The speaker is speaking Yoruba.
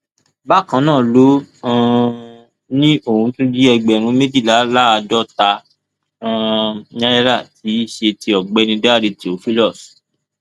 bákan náà ló um ní ó tún jí ẹgbẹrún méjìléláàádọta um náírà tí í ṣe ti ọgbẹni dáre theophilus